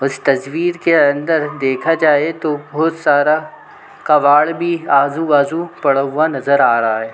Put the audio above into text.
उस तस्वीर के अंदर देखा जाए तो बहुत सारा कबाड़ भी आजू-बाजू पड़ा हुआ नज़र आ रहा है ।